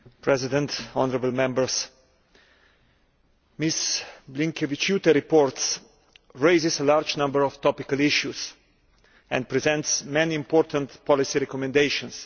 Mr President, honourable Members, Ms Blinkevičiūtė's report raises a large number of topical issues and presents many important policy recommendations.